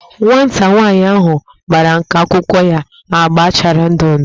Nwata nwanyị ahu gbara nka akwụkwọ ya agba chara ndụ ndụ